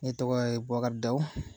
Ne tɔgɔ ye Bɔkari Dawu